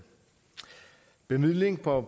bevilling på